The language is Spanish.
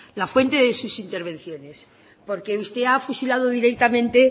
la fuente de sus intervenciones porque usted ha fusilado directamente